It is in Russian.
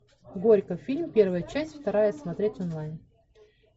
горько фильм первая часть вторая смотреть онлайн